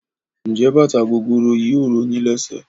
Njé bàtà gogoro yìí ò ro yín lésè?